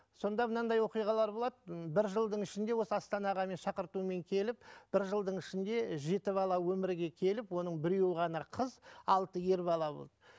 сонда мынандай оқиғалар болады м бір жылдың ішінде осы астанаға мен шақыртумен келіп бір жылдың ішінде жеті бала өмірге келіп оның біреуі ғана қыз алты ер бала болды